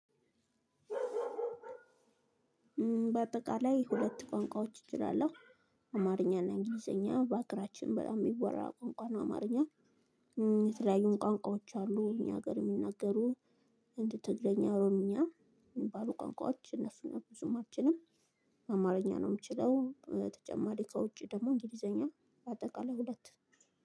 በአጠቃላይ ሁለት ቋንቋዎች እችላለሁ። አማርኛና እንግሊዘኛ በአገራችን በጣም የሚወራ ቋንቋ ነው አማርኛ። የተለያዩን ቋንቋዎች አሉ እኛ ሀገር የሚነገሩ እንደ ትግረኛ ኦሮምኛ የሚባሉ ቋንቋዎች እነሱን ብዙም አልችልም። አማርኛ ነው የምችለው። ተጨማሪ ከውጪ ደግሞ እንግሊዘኛ በአጠቃላይ ሁለት።